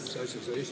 Mis asja sa esitad?